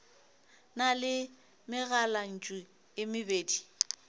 na le megalantšu e mebedi